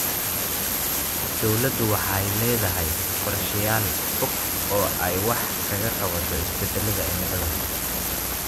Dawladdu waxa ay la�dahay qorshayaal fog oo ay wax kaga qabato isbeddelka cimilada.